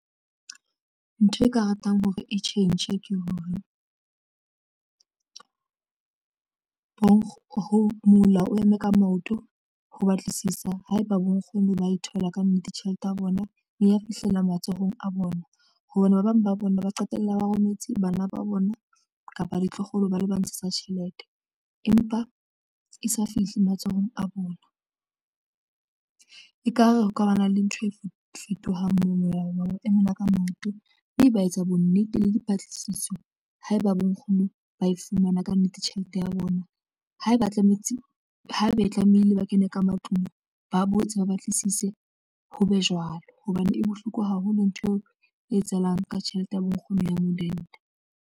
Ntho e nka ratang hore e tjhentjhe ke hore ho mola o eme ka maoto ho batlisisa haeba bo nkgono ba e thola kannete tjhelete ya bona e fihlela matsohong a bona hobane ba bang ba bona ba qetella ba rometse bana ba bona kapa ditloholo bale ba ntshetsa tjhelete empa e sa fihle matsohong a bona. Ekare ho ka ba na le ntho e fetofetohang mono ya rona e mona ka maoto mme ba etsa bo nnete le dipatlisiso haeba bo nkgono ba e fumana kannete tjhelete ya bona haeba tlametse haebe e tlamehile ba kene ka matlung ba botse ba batlisise ho be jwalo hobane e bohloko haholo ntho eo e etsahalang ka tjhelete ya bonkgono ya modende.